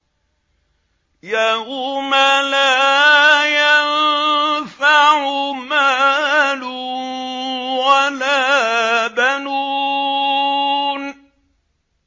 يَوْمَ لَا يَنفَعُ مَالٌ وَلَا بَنُونَ